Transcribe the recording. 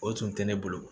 O tun tɛ ne bolo